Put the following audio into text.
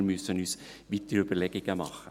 Wir müssen uns weitere Überlegungen machen.